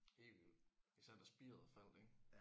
Helt vildt især da spiret faldt ik